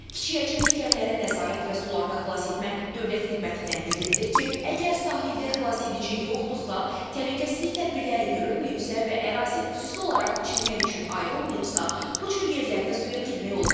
Kiçik həcmli gəmilərə nəzarət və sularda xilas etmə Dövlət Xidmətindən bildirilir ki, əgər sahildə xilasedici yoxdursa, təhlükəsizlik tədbirləri görünməyibsə və ərazi xüsusi olaraq çimmək üçün ayrılmayıbsa, bu cür yerlərdə suya girmək olmaz.